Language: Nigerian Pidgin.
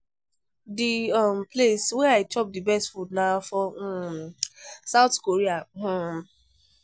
The um place wey I chop the best food na for um South Korea um